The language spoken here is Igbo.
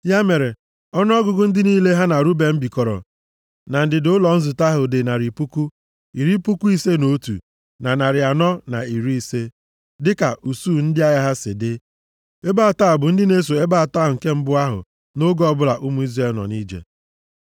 Ya mere ọnụọgụgụ ndị niile ha na Ruben bikọrọ na ndịda ụlọ nzute ahụ dị narị puku, iri puku ise na otu, na narị anọ na iri ise (151,450) dịka usuu ndị agha ha si dị. Ebo atọ a bụ ndị na-eso ebo atọ nke mbụ ahụ nʼoge ọbụla ụmụ Izrel nọ nʼije.